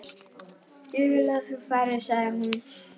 Ég vil að þú farir, sagði hún.